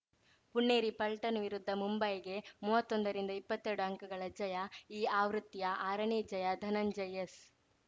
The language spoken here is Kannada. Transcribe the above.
ಪುಣೇರಿ ಪಲ್ಟನ್‌ ವಿರುದ್ಧ ಮುಂಬಾಗೆ ಮುವತ್ತೊಂದ ರಿಂದಇಪ್ಪತ್ತೆರಡು ಅಂಕಗಳ ಜಯ ಈ ಆವೃತ್ತಿಯಲ್ಲಿ ಆರನೇ ಜಯ ಧನಂಜಯ್ ಎಸ್‌